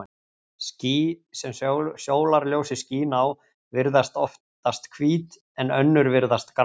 Ský, sem sólarljósið skín á, virðast oftast hvít, en önnur virðast grá.